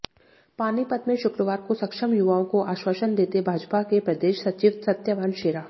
पानीपत में शुक्रवार को सक्षम युवाओं को आश्वासन देते भाजपा के प्रदेश सचिव सत्यवान शेरा